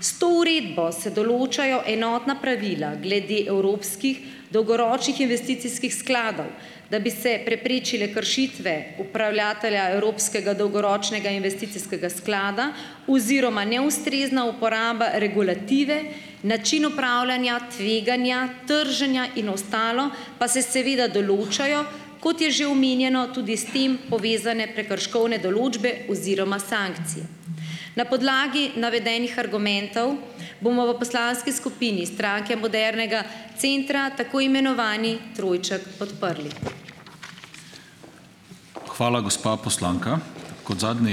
S to uredbo se določajo enotna pravila glede evropskih dolgoročnih investicijskih skladov, da bi se preprečile kršitve upravljatelja evropskega sklada dolgoročnega investicijskega oziroma neustrezna uporaba regulative, način upravljanja tveganja trženja in ostalo pa se seveda določajo, kot je že omenjeno, tudi s tem povezane prekrškovne določbe oziroma sankcije. Na podlagi navedenih argumentov bomo v poslanski skupini Stranke modernega centra tako imenovani trojček podprli.